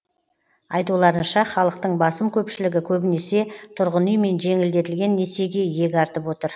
айтуларынша халықтың басым көпшілігі көбінесе тұрғын үй мен жеңілдетілген несиеге иек артып отыр